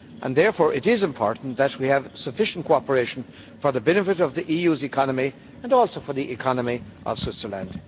Therefore, it is important that we have sufficient cooperation for the benefit of the EU's economy and also for the economy of Switzerland.